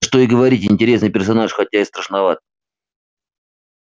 да что и говорить интересный персонаж хотя и страшноват